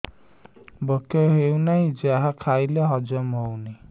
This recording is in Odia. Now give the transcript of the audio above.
ଭୋକ ହେଉନାହିଁ ଯାହା ଖାଇଲେ ହଜମ ହଉନି